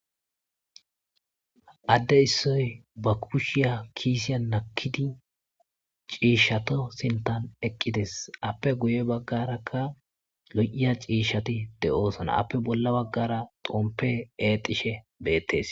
Adde issoy ba kushiya kiisiya nakkidi ciishshato sintan eqqides appe guye baggarakka lo'iya ciishati de'osona appe bolla baggara xompe edishe beettes